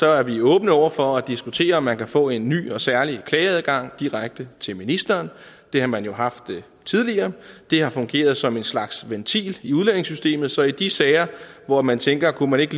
er vi åbne over for at diskutere om man kan få en ny og særlig klageadgang direkte til ministeren det har man jo haft tidligere det har fungeret som en slags ventil i udlændingesystemet så i de sager hvor man tænker om man ikke